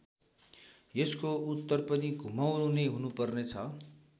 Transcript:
यसको उत्तर पनि घुमाउरो नै हुनु पर्ने छ।